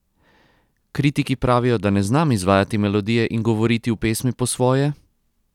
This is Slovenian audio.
Kritiki pravijo, da ne znam izvajati melodije in govoriti v pesmi po svoje?